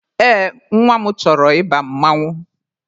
Ee, nwa m chọrọ ịba mmanwụ.